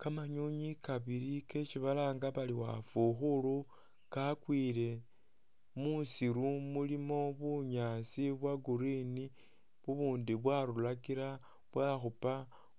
Kamanyonyi kabili kesi balanga bari wafukhulu kakwile musiru mulimo bunyaasi bwa'green bubundi bwarurakila bwakhupa